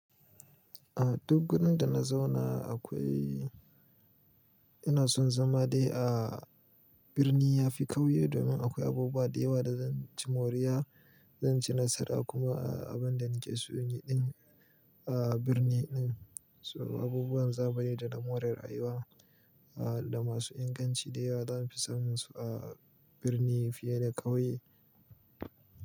A duk wurin da na zauna akwai, ina son zama dai a birni yafi ƙauye domin akwai abubuwa da yawa da zan ci moriya, zan ci nasara kuma a abin da nake so yi din a birni din. So abubuwan zamani da na more rayuwa da masu inganci da yawa zan fi samun su a birni fiye da ƙauye.